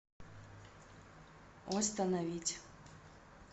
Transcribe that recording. остановить